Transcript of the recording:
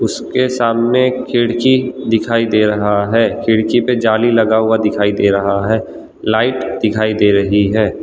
उसके सामने खिड़की दिखाई दे रहा है खिड़की पे जाली लगा हुआ दिखाई दे रहा है लाइट दिखाई दे रही है।